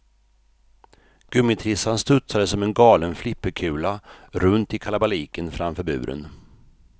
Gummitrissan studsade som en galen flipperkula, runt i kalabaliken framför buren.